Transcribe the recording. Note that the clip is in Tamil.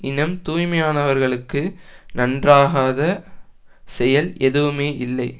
இனம் தூய்மையானவர்களுக்கு நன்றாகாத செயல் எதுவுமே இல்லை